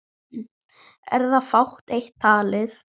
Er þá fátt eitt talið.